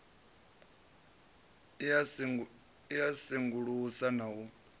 i a sengulusa na u